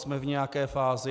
Jsme v nějaké fázi.